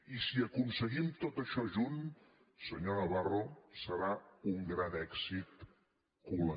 i si aconseguim tot això junt senyor navarro serà un gran èxit col